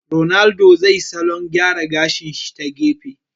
Ronaldo zai salon gyara gashi shi ta gefe